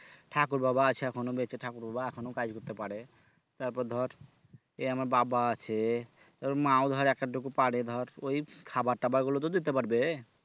ঠাকুর বাবা আছে এখনো বেঁচে ঠাকুর বাবা এখনো কাজ করতে পারে তারপর ধর এই আমার বাবা আছে তারপর মা ও ধর এক আধটুকু পারে ধর ওই খাবারটাবার গুলো তো দিতে পারবে